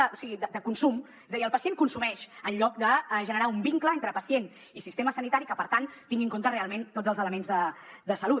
o sigui de consum és a dir el pacient consumeix en lloc de generar un vincle entre pacient i sistema sanitari que per tant tingui en compte realment tots els elements de salut